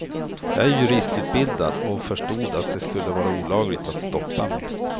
Jag är juristutbildad, och förstod att det skulle vara olagligt att stoppa mig.